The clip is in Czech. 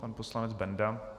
Pan poslanec Benda.